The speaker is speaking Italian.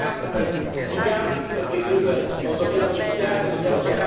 Ha finito di fare il suo comizio, senza chiedere la parola? È inutile!